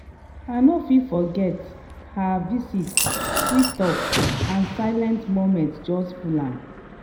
i no fit forget her visit sweet talk and silent moments just full am